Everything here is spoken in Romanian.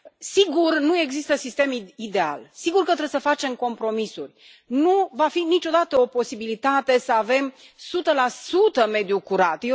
Sigur, nu există sistem ideal, sigur că trebuie să facem compromisuri, nu va fi niciodată o posibilitate să avem 100 mediul curat.